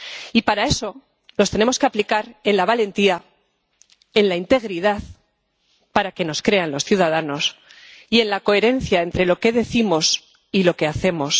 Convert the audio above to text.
Y para eso los tenemos que aplicar con valentía, con integridad —para que nos crean los ciudadanos— y con coherencia entre lo que decimos y lo que hacemos.